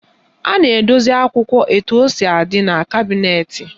A na-edosi akwụkwọ etu o si adị n'kabịnetị.